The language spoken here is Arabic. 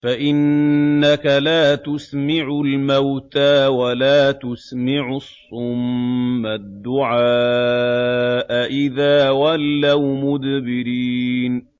فَإِنَّكَ لَا تُسْمِعُ الْمَوْتَىٰ وَلَا تُسْمِعُ الصُّمَّ الدُّعَاءَ إِذَا وَلَّوْا مُدْبِرِينَ